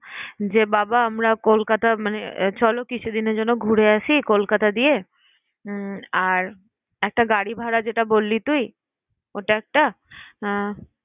যে বাবা আমরা কলকাতা মানে চলো কিছুদিনের জন্য ঘুরে আসি কলকাতা দিয়ে। উম আর একটা গাড়ি ভাড়া যেটা বললি তুই ওটা একটা আহ